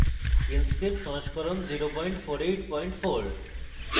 inkscape সংস্করণ 0484